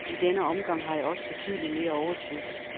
I denne omgang har jeg også betydeligt mere overskud.